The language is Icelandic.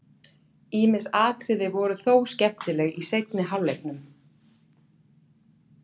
Ýmis atriði voru þó skemmtileg í seinni hálfleiknum.